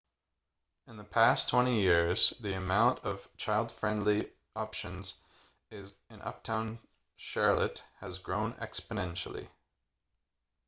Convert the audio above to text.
in the past 20 years the amount of child-friendly options in uptown charlotte has grown exponentially